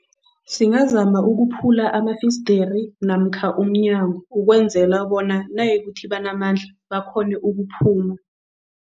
Singazama ukuphula amafeisdiri namkha umnyango ukwenzela bona nayikuthi banamandla, bakghone ukuphuma.